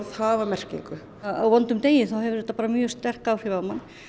hafa merkingu á vondum degi hefur þetta bara mjög sterk áhrif á mann